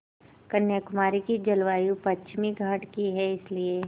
कन्याकुमारी की जलवायु पश्चिमी घाट की है इसलिए